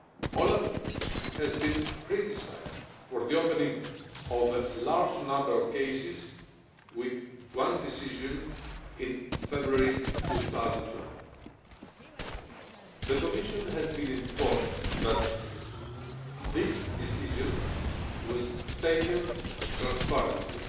OLAF has been criticised for the opening of a large number of cases, by a single decision, in February 2012. The Commission has been informed that this decision was taken transparently